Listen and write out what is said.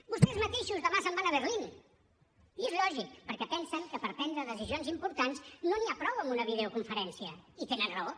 vostès mateixos demà se’n van a berlin i és lògic perquè pensen que per prendre decisions importants no n’hi ha prou amb una videoconferència i tenen raó